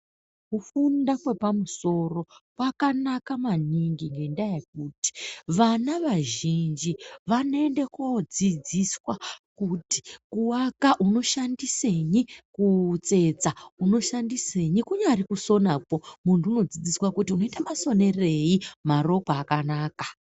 Kufunda kwepamusoro kwakanaka maningi ngendaa yekuti vana vazhinji vanoenda koodzidziswa kuti kuaka unoshandisenyi, kutsetsa unoshandisenyi, kunyari kusonakwo muntu unodzidziswa, kuti unoita masonerei marokwe akanaka.